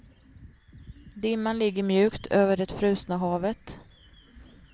Dimman ligger mjukt över det frusna havet.